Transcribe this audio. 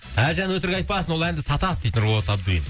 әлжан өтірік айтпасын ол әнді сатады дейді нұрболат абдуллин